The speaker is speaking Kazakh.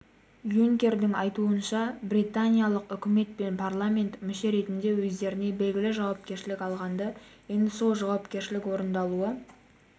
юнкердің айтуынша британиялық үкімет пен парламент мүше ретінде өздеріне белгілі жауапкершілік алғанды енді сол жауапкершілік орындалуы